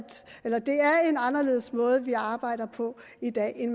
en anderledes måde vi arbejder på i dag end